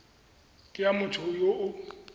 ke ya motho yo o